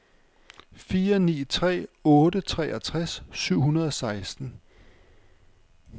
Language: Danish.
fire ni tre otte treogtres syv hundrede og seksten